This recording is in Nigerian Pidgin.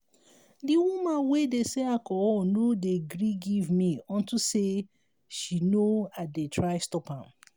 the woman wey dey sell alcohol no dey gree give me unto say she no i dey try stop am